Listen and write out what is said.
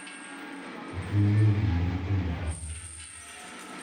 ok ing’eyo gimoro kuom nyathi.